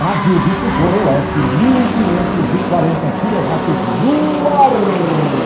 Rádio Difusora Oeste, mil e quinhentos e quarenta quilowatts no ar.